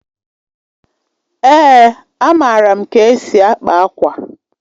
Èé, amaara m ka esi akpa akwa.